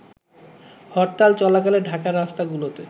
হরতাল চলাকালে ঢাকার রাস্তাগুলোতে